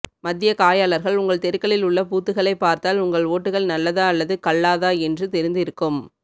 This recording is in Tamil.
மத்திய காயளர்கள் உங்கள் தெருக்களில் உள்ள பூத்துகளை பார்த்தால் உங்கள் ஓட்டுகள் நல்லதா அல்லது கல்லாத என்று தெரிந்து இருக்கும்